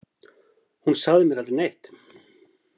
Hún sagði mér aldrei neitt!